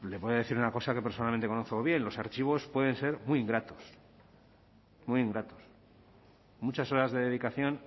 le voy a decir una cosa que personalmente conozco bien los archivos pueden ser muy ingratos muchas horas de dedicación